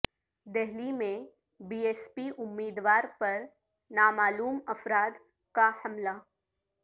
دہلی میں B S P امیدوار پر نامعلوم افراد کا حملہ